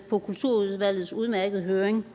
på kulturudvalgets udmærkede høring